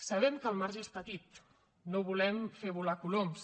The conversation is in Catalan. sabem que el marge és petit no volem fer volar coloms